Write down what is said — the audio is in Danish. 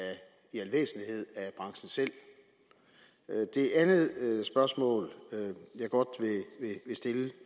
branchen selv det andet spørgsmål jeg godt vil stille